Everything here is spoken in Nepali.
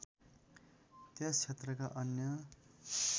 त्यस क्षेत्रका अन्य